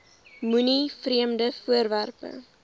moenie vreemde voorwerpe